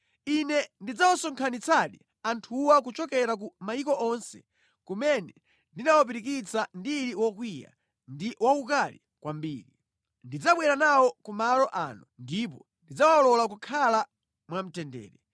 Ine ndidzawasonkhanitsadi anthuwa kuchokera ku mayiko onse kumene ndinawapirikitsira ndili wokwiya ndi waukali kwambiri. Ndidzabwera nawo ku malo ano ndipo ndidzawalola kukhala mwamtendere.